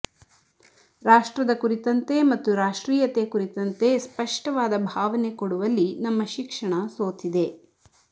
ರಾಷ್ಟ್ರದ ಕುರಿತಂತೆ ಮತ್ತು ರಾಷ್ಟ್ರೀಯತೆ ಕುರಿತಂತೆ ಸ್ಪಷ್ಟವಾದ ಭಾವನೆ ಕೊಡುವಲ್ಲಿ ನಮ್ಮ ಶಿಕ್ಷಣ ಸೋತಿದೆ